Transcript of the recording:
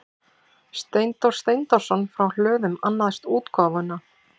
Steindór Steindórsson frá Hlöðum annaðist útgáfuna.